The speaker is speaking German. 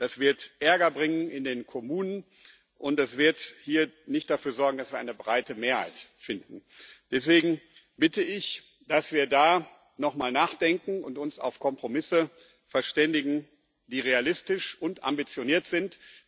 Das wird Ärger bringen in den Kommunen und das wird hier nicht dafür sorgen, dass wir eine breite Mehrheit finden. Deswegen bitte ich, dass wir da noch mal nachdenken und uns auf Kompromisse verständigen, die realistisch und ambitioniert sind.